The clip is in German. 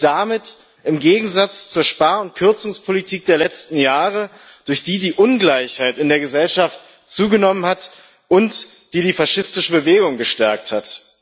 Sie steht damit im Gegensatz zur Spar und Kürzungspolitik der letzten Jahre, durch die die Ungleichheit in der Gesellschaft zugenommen hat und die die faschistische Bewegung gestärkt hat.